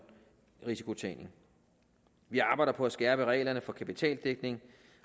risikotænkning vi arbejder på at skærpe reglerne for kapitaldækning